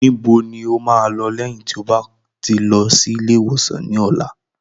Níbo ni o máa lọ lẹ́yìn tí o bá ti lọ sí ilé ìwòsàn ní ọ̀la?